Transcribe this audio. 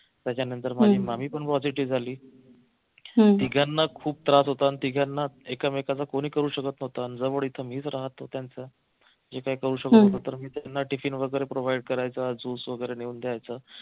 त्याच्यानंतर माझी मामी पण positive झाली तिघांना खूप त्रास होता न तिघांना एकमेकांचं कोणी करू शकत नव्हतं जवळ मीच राहत होतो त्यांचं जे काही करू शकत होतो मी त्याना tiffin वगैरे provide करायचा juice वगैरे नेऊन द्यायचा